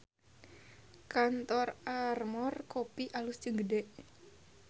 Kantor Armor Kopi alus jeung gede